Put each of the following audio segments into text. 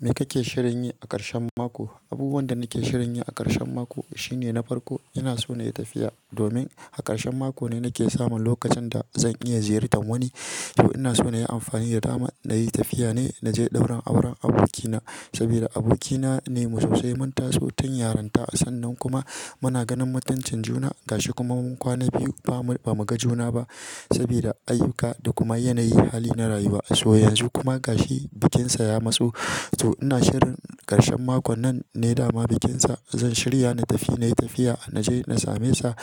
Me kake shirin yi a ƙarshen mako? Abubuwan da nake shirin yi a ƙarshen mako f-- shine na farko ina so na yi tafiya domin a ƙarshen mako ne nake samun lokacin da zan iya ziyartar wani. To ina so na yi amfani da dama na yi tafiya ne na je ɗaurin auren abokina sabida abokina ne mu sosai mun taso tun yaronta sannan kuma muna ganin mutuncin juna. Gashi kuma mun kwana biyu ba mu, ba mu ga juna ba saboda ayyuka da kuma yanayi hali na rayuwa. So yanzu kuma gashi bikinsa ya matsu. To ina shirin ƙarshen makon nan ne dama bikinsa. Zan shirya na tafi, na yi tafiya na je na same sa.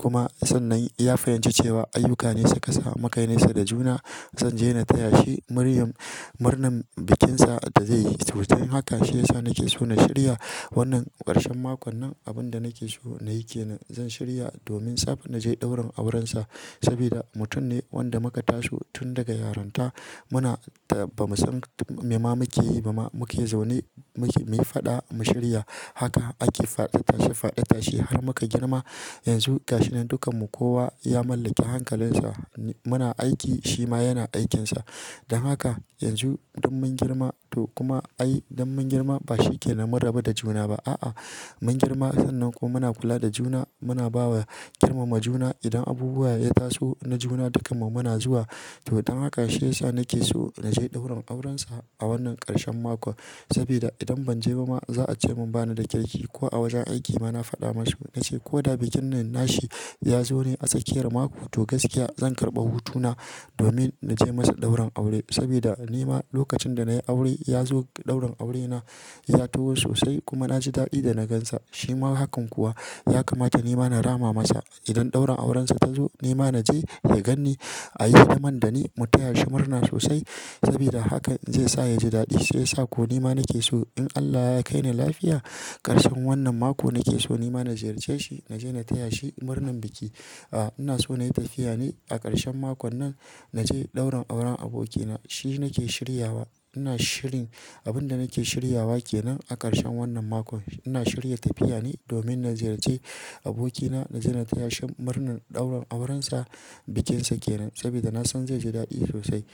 Kuma sannan ya fahimci cewa ayyuka ne suka sa muka nesa da juna. Zan je na taya shi muryam murnan bikinsa da zai yi. To dan hakan shi ya sa nake so na shirya wannan ƙarshen mako nan. Abun da nake so na yi ke nan. Zan shirya domin safe na je ɗaurin aurensa sabida mutum ne wanda muka taso tun daga yaranta. Muna ta-- bamu san t-- me ma muke yi ba ma muke zaune. Mu ke, muyi faɗa mu shirya haka ake faɗa tashi faɗa tashi har muka girma. Yanzu gashi nan dukkanmu kowa ya mallaki hankalinsa n--. Muna aiki shi ma yana aikinsa. Dan haka yanzu dun mun girma to kuma ai don mun girma ba shi kenan mun rabu da juna ba. A'a mun girma sannan kuma muna kula da juna. Muna bawa girmama juna. Idan abubuwa ya taso na juna dukkanmu muna zuwa. To don hakan shi yasa nake so na je ɗaurin aurensa a wannan ƙarshen makon sabida idan ban je ba ma za a ce mun bani da kirki ko a wajen aiki ma na faɗa masu na ce ko da bikin nashi ya zo ne a tsakiyar mako to gaskiya zan karɓa hutuna domin na je masa ɗaurin aure sabida nima lokacin da na yi aure ya zo ɗaurin aurena ya taho sosai kuma na ji daɗi da na gansa. Shi ma hakan kuwa ya kamata nima na rama masa idan ɗaurin aurensa ta zo nima na je ya ganni a yi hidiman da ni mu taya shi murna sosai sabida hakan zai sa ya ji daɗi. Shi yasa ko nima nake so in Allah ya kaini lafiya ƙarshen wannan mako nake so nima na ziyarce shi na je na taya shi murnan biki. A ina so na yi tafiya ne a ƙarshen mako nan na je ɗaurin auren abokina. Shi nake shiryawa ina shirin abun da nake shiryawa ke nan a ƙarshen wannan mako. Ina shirya tafiya ne domin na ziyarce abokina na je na taya shi murnan ɗaurin aurensa bikinsa ke nan sabida na san zai ji daɗi sosai.